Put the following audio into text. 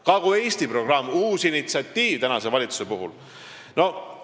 Kagu-Eesti programm on tänase valitsuse uus initsiatiiv.